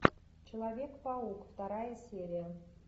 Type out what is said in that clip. человек паук вторая серия